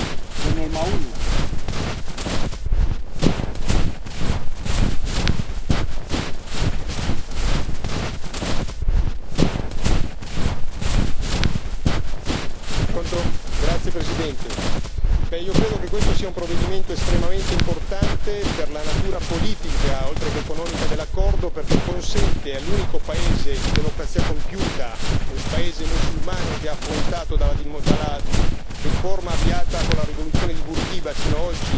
Signor Presidente, onorevoli colleghi, io credo che questo sia un provvedimento estremamente importante per la natura politica oltreché economica dell'accordo, perché è rivolto all'unico paese di democrazia compiuta, un paese musulmano che ha affrontato, dalla riforma avviata con la rivoluzione di Bourguiba fino a oggi,